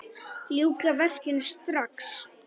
Ljúka verkinu strax!